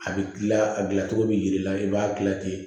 A bɛ kila a dilancogo bɛ jir'i la i b'a gilan ten